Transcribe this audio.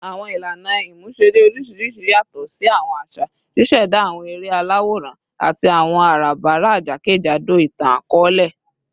Awọn ilana imuṣere oriṣiriṣi yatọ si awọn aṣa, ṣiṣẹda awọn ere alaworan ati awọn arabara jakejado itan-akọọlẹ